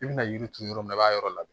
I bɛna yiri turu yɔrɔ min na i b'a yɔrɔ labɛn